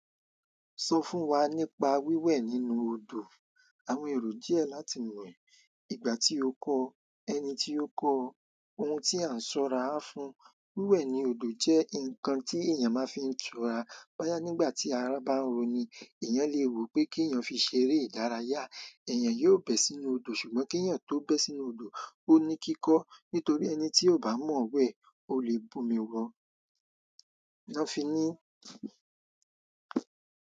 Sọ fún wa nípa wíwẹ̀ nínú odò. Àwọn èrò díẹ̀ láti mọ̀ e, ìgbà tí ó kọ, ẹni tí ó kọ́ ọ, ohun tí a ń ṣọ́ra fún. Wíwẹ̀ ní odò jẹ́ nǹkan tí èèyàn máa fi ń tura. Boyá, nígbà tí ara bá ń roni èèyàn lè wò pé kèèyàn fi ṣeré ìdárayá, èèyàn yóò bẹ̀ sínú odò. Ṣùgbọ́n kèèyàn tó bẹ̀ sínú odò, ó ní kíkọ́ nítorí ẹni tí ò bá mọ̀ n wẹ̀ o lè bomi lọ́. Nọ́ n fi ní.